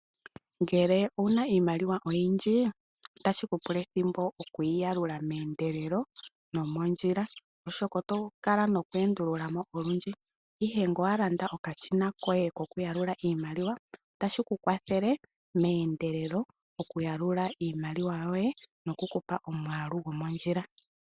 Ngele owuna iimaliwa oyindji otashi ku pula ethimbo okuyi yalula meendelelo nomondjila oshoka oto kala noku endulula mo olundji. Ihe ngele owa landa okashina koye kokuyalula iimaliwa otashi ku kwathele meendelelo okuyalula iimaliwa yoye noku kupa omwaalu gomondjila.